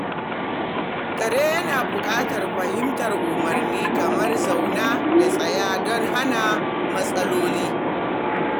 Kare yana buƙatar fahimtar umarni kamar "zauna" da "tsaya" don hana matsaloli.